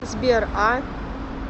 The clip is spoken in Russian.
сбер а